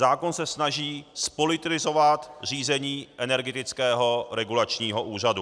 Zákon se snaží zpolitizovat řízení Energetického regulačního úřadu.